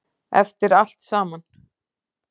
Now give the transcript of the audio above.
Eftir allt saman.